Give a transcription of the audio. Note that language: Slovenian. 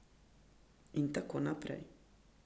In tako naprej.